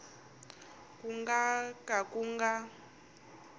ku nga ka ku nga